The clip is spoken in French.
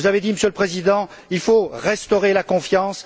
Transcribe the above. Vous avez dit, Monsieur le Président, qu'il faut restaurer la confiance.